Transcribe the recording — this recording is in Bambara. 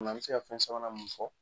An bɛ se ka fɛn sabanan mun fɔ